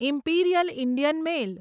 imperial Indian mail